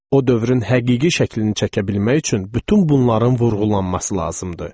O dövrün həqiqi şəklini çəkə bilmək üçün bütün bunların vurğulanması lazımdır.